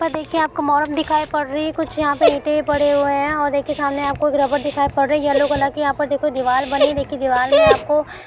ऊपर देखिए आपको मोरम दिखाई पड़ रही है । कुछ यहाँ पे ईंटे पड़े हुए है और देखिए सामने आपको एक रबड़ दिखाई पड़ रही यलो कलर कि । यहाँ पर देखो दीवाल बनी देखिए दीवाल में आपको--